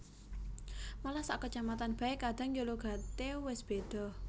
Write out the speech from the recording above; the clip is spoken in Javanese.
Malah sak kacamatan bae kadang ya logate wis beda